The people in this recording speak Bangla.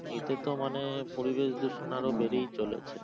এতে তো মানে পরিবেশ দূষণ আরো বেড়েই চলেছে।